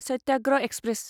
Satyagraha express